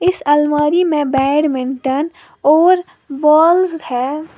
इस अलमारी में बैडमिंटन और बॉल्स हैं।